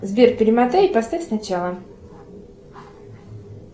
сбер перемотай и поставь сначала